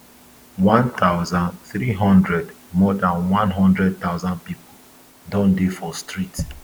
one thousand, three hundred more dan one hundred thousand pipo don dey for streets